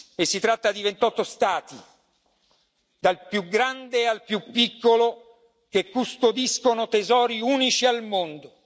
E si tratta di 28 Stati, dal più grande al più piccolo, che custodiscono tesori unici al mondo.